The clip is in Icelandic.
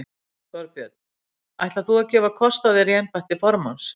Þorbjörn: Ætlar þú að gefa kost á þér í embætti formanns?